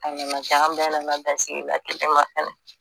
A nana kɛ an bɛɛ nana bɛn sigida kelen ma fɛnɛ